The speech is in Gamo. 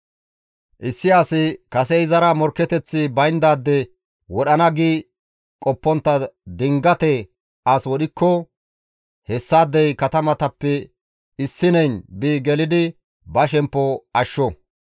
Issi asi kase izara morkketeththi bayndaade wodhana gi qoppontta dingate as wodhikko hessaadey katamatappe issineyn bi gelidi ba shemppo ashsho.